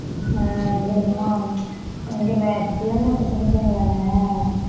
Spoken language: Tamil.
ஆஹ் இது என்னமோ இங்க வே~ பிள்ளைங்க இப்ப சின்னப்பிள்ளைங்கதானே